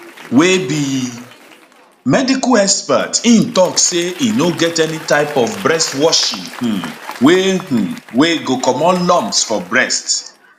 wey be medical expert im tok say e no get any type of breast washing um wey um wey go comot lumps for breast